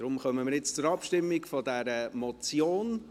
Darum kommen wir jetzt zur Abstimmung zu dieser Motion.